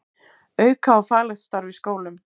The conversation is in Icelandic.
Auka á faglegt starf í skólum